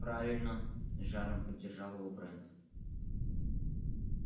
правильно с жаром поддержал его брент